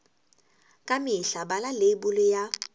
ka mehla bala leibole ya